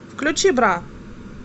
включи бра